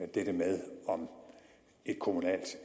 dette med om et kommunalt